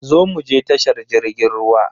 Zo muje tashar jirgin ruwa.